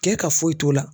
Kɛ ka foyi t'o la